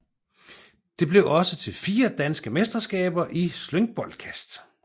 Det blev også til fire danske mesterskaber i slyngboldkast